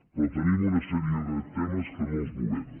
però tenim una sèrie de temes que no els movem